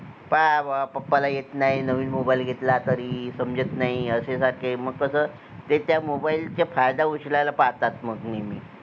पहाबा पप्पा ला येत नाही नवीन mobile घेतला तरी समजत नाही अशे सारखे मग कसं ते त्या mobile चा फायदा उचलायला पाहतात मग नेहमी